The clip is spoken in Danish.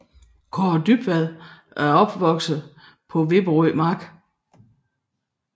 Kaare Dybvad voksede op på Vipperød Mark